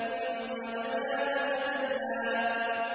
ثُمَّ دَنَا فَتَدَلَّىٰ